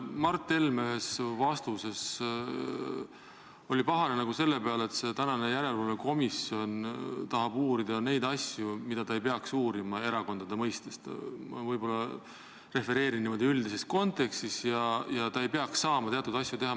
Mart Helme oli ühes vastuses pahane selle pärast, et tänane järelevalvekomisjon tahab uurida neid asju, mida ta ei peaks erakondade mõistes uurima – ma võib-olla refereerin üldises kontekstis –, ja ta ei peaks saama teatud asju teha.